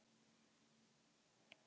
Eitthvað liggur í augum uppi